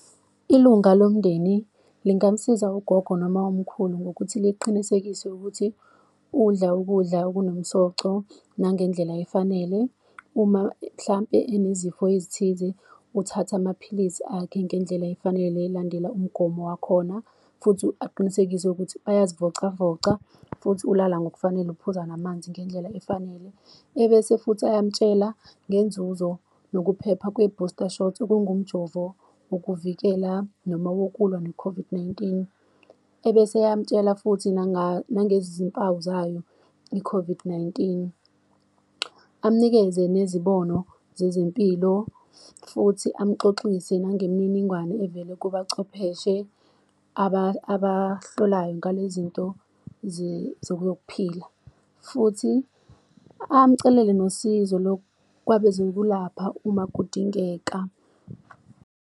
Ilunga lomndeni lingamsiza ugogo noma umkhulu ngokuthi liqinisekise ukuthi, udla ukudla okunomsoco nangendlela afanele. Uma mhlampe anezifo ezithize, uthatha amaphilisi akhe ngendlela efanele elandela umgomo wakhona. Futhi aqinisekise ukuthi bayazivocavoca futhi ulala ngokufanele, uphuza namanzi ngendlela efanele. Ebese futhi ayamtshela ngenzuzo nokuphepha kwe-booster shot, okungumjovo wokuvikela noma wokulwa ne-COVID-19. Ebese eyamtshela futhi nangezimpawu zayo i-COVOD nineteen, amnikeze nezibono zezempilo, futhi amxoxise nangemininingwane evele kubachwepheshe abahlolayo ngale zinto zokuphila, futhi amcelele nosizo kwabezokulapha uma kudingeka.